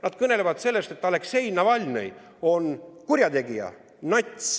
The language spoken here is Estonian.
Nad kõnelesid sellest, et Aleksei Navalnõi on kurjategija, nats.